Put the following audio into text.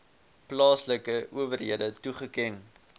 plaaslike owerhede toeken